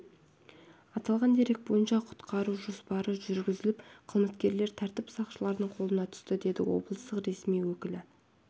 аталған дерек бойынша құрықтау жоспары жүргізіліп қылмыскерлер тәртіп сақшыларының қолына түсті деді облыстық ресми өкілі